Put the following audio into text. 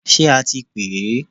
Ṣé a ti pè ẹ?